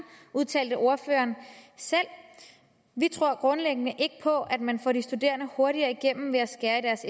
udtalte ordføreren selv vi tror grundlæggende ikke på at man får de studerende hurtigere igennem ved at skære i deres